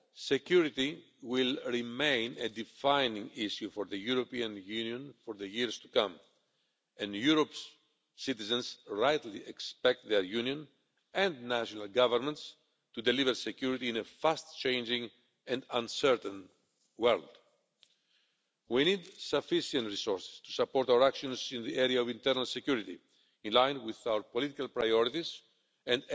Security will remain a defining issue for the European Union in the years to come and Europe's citizens rightly expect their Union and national governments to deliver security in a fast changing and uncertain world. We need sufficient resources to support our actions in the area of internal security, in line with our political priorities and